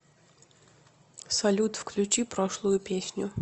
салют включи прошлую песню